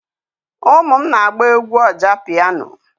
Ụmụ m na-agba egwú ọjá pịyano,